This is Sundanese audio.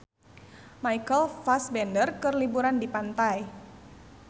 Michael Fassbender keur liburan di pantai